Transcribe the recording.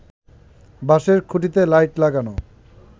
বাঁশের খুঁটিতে লাইট লাগানো